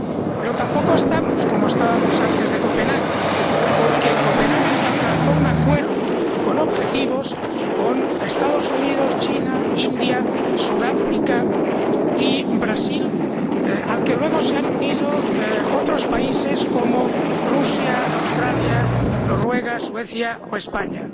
Pero tampoco estamos como estábamos antes de Copenhague, porque en Copenhague se alcanzó un acuerdo con objetivos con los Estados Unidos, China, India, Sudáfrica y Brasil, al que luego se han unido otros países como Rusia, Australia, Noruega, Suecia o España.